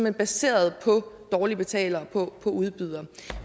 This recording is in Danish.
er baseret på dårlige betalere